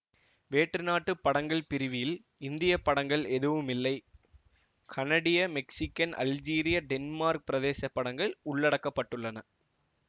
வேற்று நாட்டுப் படங்கள் பிரிவில் இந்திய படங்கள் எதுவும் இல்லை கனடிய மெக்சீக்கன் அல்ஜீரியா டென்மார்க் பிரதேச படங்கள் உள்ளடக்கப்பட்டுள்ளன